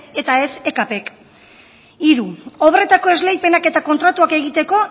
eta ez ekp k hiru obretako esleipenak eta kontratuak egiteko